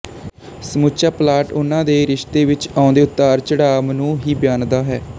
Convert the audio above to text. ਸਮੁੱਚਾ ਪਲਾਟ ਉਹਨਾਂ ਦੇ ਰਿਸ਼ਤੇ ਵਿੱਚ ਆਉਂਦੇ ਉਤਾਰਚੜਾਵ ਨੂੰ ਹੀ ਬਿਆਨਦਾ ਹੈ